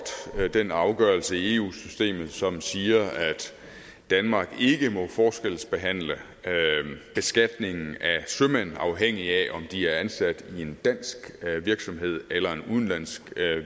den afgørelse i eu systemet som siger at danmark ikke må forskelsbehandle beskatningen af sømænd afhængig af om de er ansat i en dansk virksomhed eller i en udenlandsk